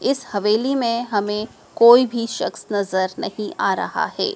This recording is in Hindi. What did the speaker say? इस हवेली में हमें कोई भी शख्स नजर नहीं आ रहा है।